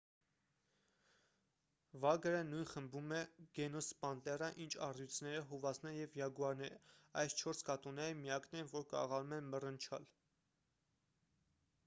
վագրը նույն խմբում է գենուս պանտերա ինչ առյուծները հովազները և յագուարները: այս չորս կատուները միակն են որ կարողանում են մռնչալ: